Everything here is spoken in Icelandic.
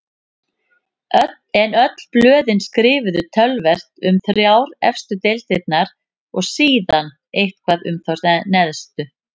En öll blöðin skrifuðu töluvert um þrjár efstu deildirnar og síðan eitthvað um þá neðstu.